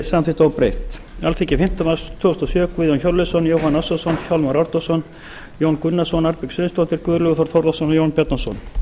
samþykkt óbreytt alþingi fimmta mars tvö þúsund og sjö guðjón hjörleifsson jóhann ársælsson hjálmar árnason jón gunnarsson arnbjörg sveinsdóttir guðlaugur þór þórðarson og jón bjarnason